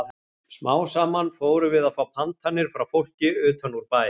Smám saman fórum við að fá pantanir frá fólki utan úr bæ.